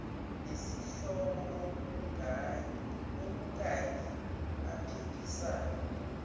nesihloko okukanye aphikisane